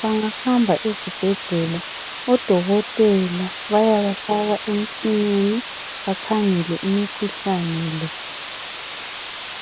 bangahamba ezibhedlela odokotela bayabafaka emtshineni bakhangele imikhuhlane le